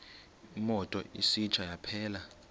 imoto isitsha yaphela